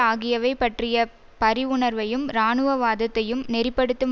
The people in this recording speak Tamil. ஆகியவை பற்றிய பரிவுணர்வையும் இராணுவவாதத்தை நெறி படுத்தும்